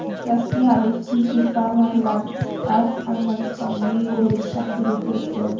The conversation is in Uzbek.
Rossiyalik tinchlikparvarlar Armanistonning Goris shahriga kirib keldi .